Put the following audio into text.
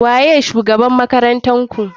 Waye shugabr matan makarantarku?